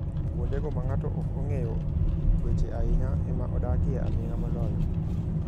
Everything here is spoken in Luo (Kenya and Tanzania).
'kuondego ma ng'ato ok ong'eyo weche ahinya, ema odakie aming'a moloyo.'